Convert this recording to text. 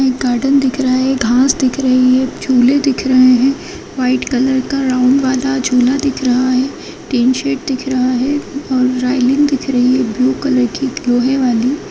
एक गार्डन दिख रहा है घास दिख रही है झूले दिख रहे हैं व्हाइट कलर का राउन्ड वाला झूला दिख रहा है टीन शेड दिख रहा है और राईलिंग दिख रही है ब्लू-कलर की लोहे वाली।